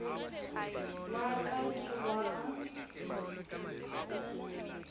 o wa ka ke wa